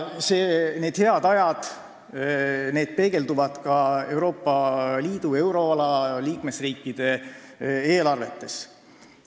Need head ajad peegelduvad ka Euroopa Liidu ja euroala liikmesriikide eelarvetes.